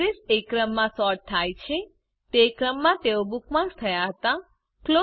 address એ ક્રમમાં sort થયા છે તે ક્રમમાં તેઓ બુકમાર્ક્સ થયા હતા